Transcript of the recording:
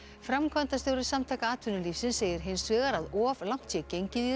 framkvæmdastjóri Samtaka atvinnulífsins segir hins vegar að of langt sé gengið í